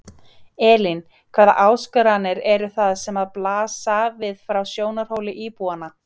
Elín: Hvaða áskoranir eru það sem að blasa við frá sjónarhóli íbúanna?